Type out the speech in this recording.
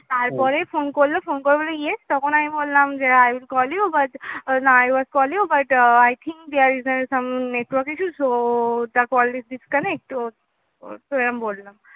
তারপরে phone করলো , phone করে বললো yes তখন আমি বললাম যে, I will call you but ah না I was call you but I think there is a network some issue so the call disconnect তো এরম বল্ল